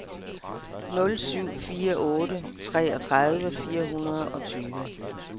nul syv fire otte treogtredive fire hundrede og tyve